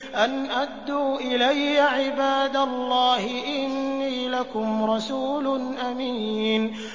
أَنْ أَدُّوا إِلَيَّ عِبَادَ اللَّهِ ۖ إِنِّي لَكُمْ رَسُولٌ أَمِينٌ